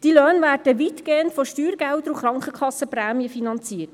Die Löhne werden weitgehend von Steuergeldern und Krankenkassenprämien finanziert.